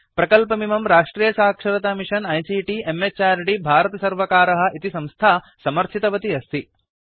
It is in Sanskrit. प्रकल्पमिमं राष्ट्रियसाक्षरतामिषन आईसीटी म्हृद् भारतसर्वकारः इति संस्था समर्थितवती अस्ति